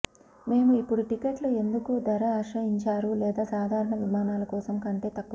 మేము ఇప్పుడు టిక్కెట్ల ఎందుకు ధర ఆశ్రయించారు లేదా సాధారణ విమానాలు కోసం కంటే తక్కువ